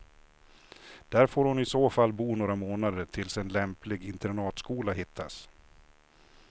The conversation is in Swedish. Där får hon i så fall bo några månader tills en lämplig internatskola hittas.